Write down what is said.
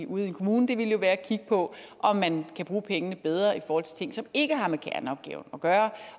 ude i en kommune ville jo være at kigge på om man kan bruge pengene bedre i forhold til ting som ikke har med kerneopgaven at gøre